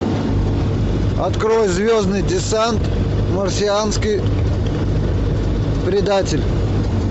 открой звездный десант марсианский предатель